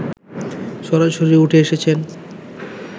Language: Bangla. সরাসরি উঠে এসেছেন